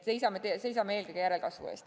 Nii et seisame eelkõige järelkasvu eest.